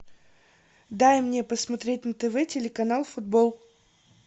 дай мне посмотреть на тв телеканал футбол